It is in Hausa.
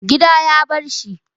Gida ya barshi.